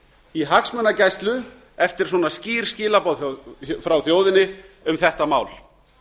í hagsmunagæslu eftir svona skýr skilaboð frá þjóðinni um þetta mál